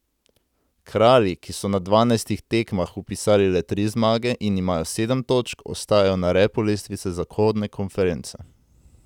Kralji, ki so na dvanajstih tekmah vpisali le tri zmage in imajo sedem točk, ostajajo na repu lestvice zahodne konference.